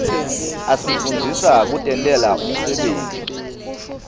asifundzisa kutentela umsebenti